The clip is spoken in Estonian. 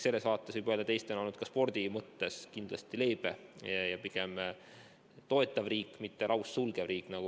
Sellest seisukohast võib öelda, et Eesti on olnud ka spordireeglite mõttes kindlasti leebe ja pigem toetav riik, mitte laussulgev riik.